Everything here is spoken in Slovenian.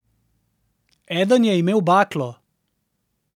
Eden je imel baklo.